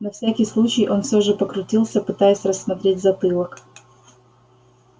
на всякий случай он все же покрутился пытаясь рассмотреть затылок